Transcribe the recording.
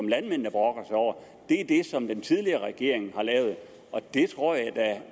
landmændene brokker sig over er det som den tidligere regering har lavet og det tror jeg